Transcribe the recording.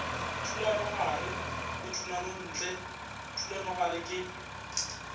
thulanogare le thulanontle thulanogare ke